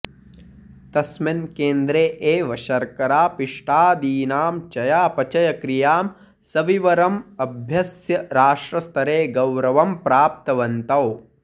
तस्मिन् केन्द्रे एव शर्करापिष्टादीनां चयापचयक्रियां सविवरम् अभ्यस्य राष्ट्रस्तरे गौरवं प्राप्तवन्तौ